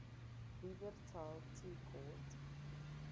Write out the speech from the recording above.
wupperthal tea court